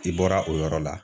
I bɔra o yɔrɔ la.